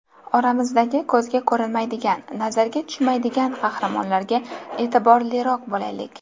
Oramizdagi ko‘zga ko‘rinmaydigan, nazarga tushmaydigan qahramonlarga e’tiborliroq bo‘laylik.